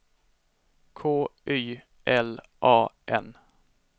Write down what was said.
K Y L A N